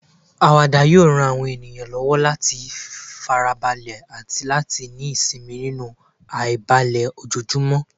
Àwàdà yóò ran àwọn ènìyàn lọ́wọ́ láti fara balẹ̀ àti láti ní ìsinmi nínú àìbalẹ̀ ojoojúmọ́.